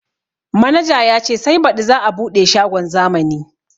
Manaja ya ce sai baɗi za a buɗe shagon zamani